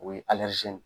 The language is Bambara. O ye